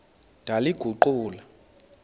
ndaliguqula